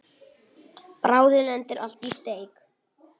Bráðum lendir allt í steik.